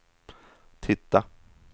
titta